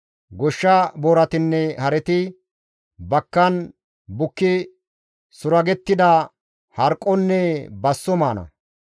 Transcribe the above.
Goshsha booratinne hareti bakkan bukki suragettida harqqonne basso maana.